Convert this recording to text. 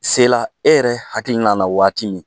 Sela e yɛrɛ hakilina na waati min